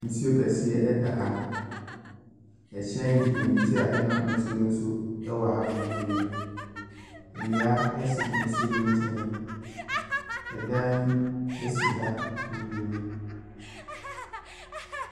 Nsuo kɛseɛ ɛda ha. Ɛhyɛn nketenkete a ɛnam nsuo no so ɛwɔ ha bebree. Nnua esi nsuo no nkyɛn. Ɛdan esi ha bebree.